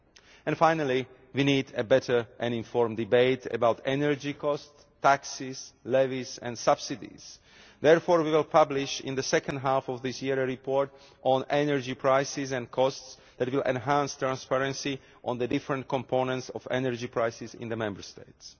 And finally, we need a better and informed debate about energy cost, taxes, levies and subsidies. Therefore, we will publish in the second half of this year a report on energy prices and costs that will enhance transparency on the different components of energy prices in the Member States.